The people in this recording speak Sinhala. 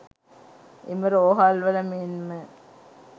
එම රෝහල්වල මෙන්ම